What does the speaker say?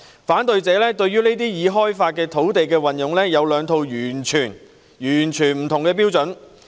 反對者對於已開發土地的運用有兩套完全不同的標準。